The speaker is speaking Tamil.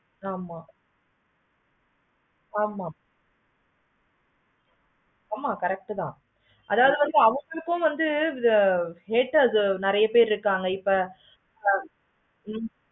வந்துரும் correct